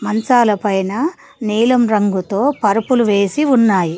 మంచాల పైన నీలం రంగుతో పరుపులు వేసి ఉన్నాయి.